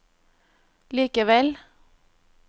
likevel